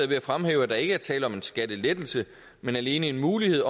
ved at fremhæve at der ikke er tale om en skattelettelse men alene en mulighed